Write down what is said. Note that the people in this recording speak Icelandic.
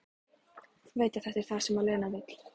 Veit að þetta er það sem Lena vill.